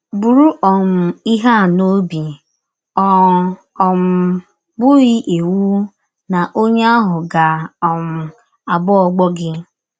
Bụrụ um ihe a n’ọbi: Ọ um bụghị iwụ na ọnye ahụ ga - um abụ ọgbọ gị.